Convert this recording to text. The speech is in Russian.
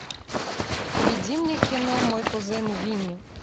введи мне кино мой кузен винни